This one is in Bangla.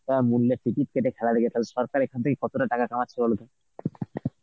অ্যাঁ মূল্যের ticket কেটে খেলা দেখে তালে সরকারের কতটা টাকা কামাচ্ছে বলতো.